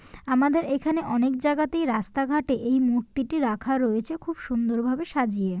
আমাদের এখানে অনেক জায়গাতে রাস্তাঘাটে এই মূর্তিটা রাখা রয়েছে খুব সুন্দর ভাবে সাজিয়ে।